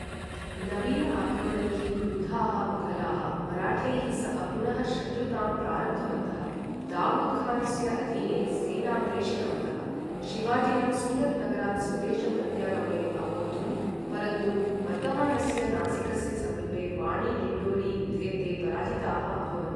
नवीन आक्रमणैः क्रुद्धाः मुघलाः मराठैः सह पुनः शत्रुतां प्रारब्धवन्तः, दावूद् खानस्य अधीने सेनां प्रेषितवन्तः, शिवाजिनं सूरत् नगरात् स्वदेशं प्रत्यागमने अवोद्धुम्, परन्तु वर्तमानस्य नासिकस्य समीपे वाणी डिण्डोरी युद्धे ते पराजिताः अभवन्।